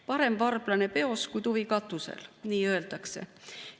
Parem varblane peos kui tuvi katusel, nii öeldakse.